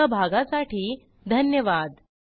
सहभागासाठी धन्यवाद